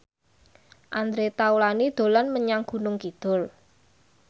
Andre Taulany dolan menyang Gunung Kidul